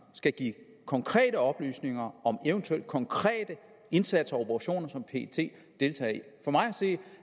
skal give konkrete oplysninger om eventuelt konkrete indsatser og operationer som pet deltager i for mig at se